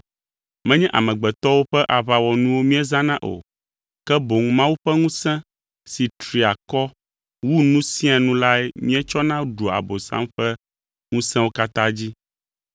Menye amegbetɔwo ƒe aʋawɔnuwo míezãna o, ke boŋ Mawu ƒe ŋusẽ si tri akɔ wu nu sia nu lae míetsɔna ɖua Abosam ƒe ŋusẽwo katã dzi.